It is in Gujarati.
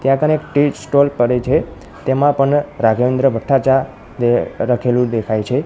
ત્યાં કને એક ટી સ્ટોલ પડે છે તેમાં પણ રાગેન્દ્ર ભઠા ચા લખેલું દેખાય છે.